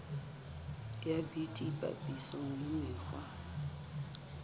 ya bt papisong le mekgwa